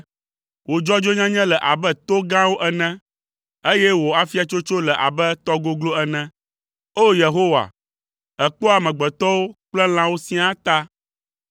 Wò dzɔdzɔenyenye le abe to gãwo ene, eye wò afiatsotso le abe tɔ goglo ene. O! Yehowa, èkpɔa amegbetɔwo kple lãwo siaa ta.